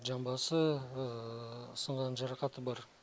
жамбасы сынған жарақаты бар